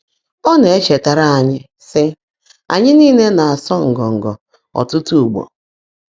Ọ́ ná-èchetáárá ányị́, sị́: “Ányị́ níle ná-ásụ́ ngọ́ngọ́ ọ́tụ́tụ́ ụ́gbọ́.”